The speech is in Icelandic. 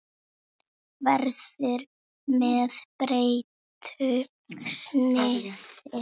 Hann verður með breyttu sniði.